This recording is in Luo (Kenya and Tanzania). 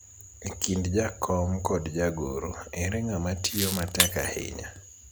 e kind jakom kod jagoro, ere ng'ama tiyo matek ahinya